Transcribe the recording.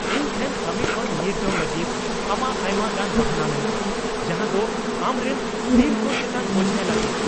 ᱤᱧ ᱴᱷᱮᱱ ᱠᱟᱹᱢᱤ ᱠᱷᱚᱱ ᱧᱤᱨ ᱡᱚᱝ ᱞᱟᱹᱜᱤᱫ ᱟᱢᱟᱜ ᱟᱭᱢᱟ ᱜᱟᱱ ᱵᱟᱦᱟᱱᱟ ᱢᱮᱱᱟᱜᱼᱟ ᱡᱟᱦᱟᱸᱫᱚ ᱟᱢᱨᱮᱱ ᱴᱤᱢᱠᱚ ᱪᱮᱛᱟᱱ ᱵᱳᱡᱷᱟᱭ ᱞᱟᱫᱮᱭᱟ ᱾